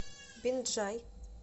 бинджай